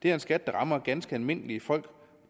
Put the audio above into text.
er en skat der rammer ganske almindelige folk